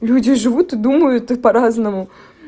люди живут и думают по-разному